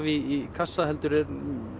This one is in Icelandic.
í kassa heldur er